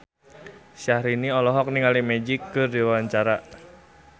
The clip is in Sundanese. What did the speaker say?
Syahrini olohok ningali Magic keur diwawancara